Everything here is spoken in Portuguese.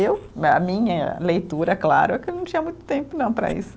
Eu, na minha leitura, é claro, é que não tinha muito tempo não para isso.